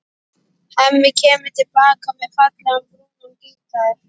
Hemmi kemur til baka með fallegan, brúnan gítar.